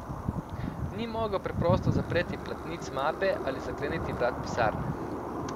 Ni mogel preprosto zapreti platnic mape ali zakleniti vrat pisarne.